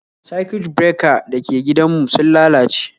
Circuit breaker dake gidan mu sun lalace